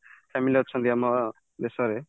family ଅଛନ୍ତି ଆମ ଦେଶରେ